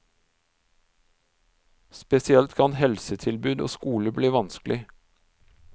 Spesielt kan helsetilbud og skole bli vanskelig.